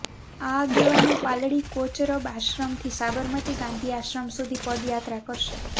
આ આગેવાનો પાલડી કોચરબ આશ્રમથી સાબરમતી ગાંધી આશ્રમ સુધી પદયાત્રા કરશે